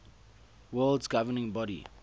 world governing body